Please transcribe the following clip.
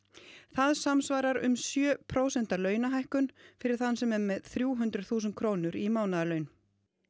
það samsvarar um sjö prósenta launahækkun fyrir þann sem er með þrjú hundruð þúsund krónur í mánaðarlaun